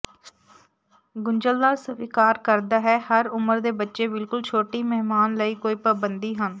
ਗੁੰਝਲਦਾਰ ਸਵੀਕਾਰ ਕਰਦਾ ਹੈ ਹਰ ਉਮਰ ਦੇ ਬੱਚੇ ਬਿਲਕੁਲ ਛੋਟੀ ਮਹਿਮਾਨ ਲਈ ਕੋਈ ਪਾਬੰਦੀ ਹਨ